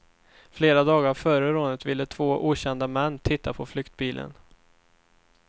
Flera dagar före rånet ville två okända män titta på flyktbilen.